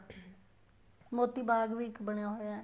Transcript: ਮੋਤੀ ਬਾਗ ਵੀ ਇੱਕ ਬਣਿਆ ਹੋਇਆ ਹੈ